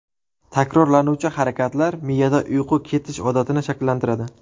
Takrorlanuvchi harakatlar miyada uyquga ketish odatini shakllantiradi.